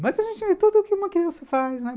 Mas a gente vê tudo o que uma criança faz, né?